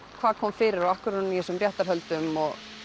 hvað kom fyrir og af hverju er hún í þessum réttarhöldum